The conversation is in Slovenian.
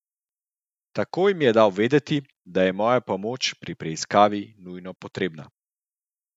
Takoj mi je dal vedeti, da je moja pomoč pri preiskavi nujno potrebna.